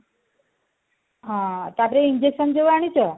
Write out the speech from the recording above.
ହଁ ତାପରେ injection ଯୋଉ ଆଣିଛ